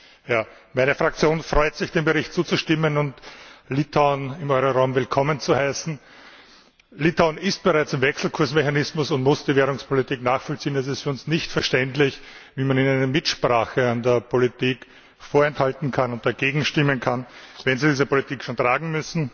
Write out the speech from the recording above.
Frau Präsidentin! Meine Fraktion freut sich, dem Bericht zuzustimmen und Litauen im Euro Raum willkommen zu heißen. Litauen ist bereits im Wechselkursmechanismus und muss die Währungspolitik nachvollziehen. Es ist für uns nicht verständlich, wie man ihnen eine Mitsprache an der Politik vorenthalten kann und dagegen stimmen kann, wenn sie diese Politik schon tragen müssen.